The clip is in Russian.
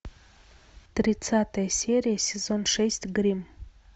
тридцатая серия сезон шесть гримм